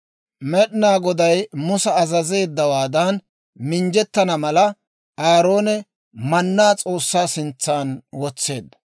Med'inaa Goday Musa azazeeddawaadan minjjettana mala, Aaroone mannaa S'oossaa sintsan wotseedda.